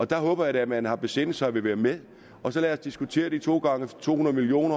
der håber jeg da at man har besindet sig og vil være med og så lad os diskutere de to gange to hundrede million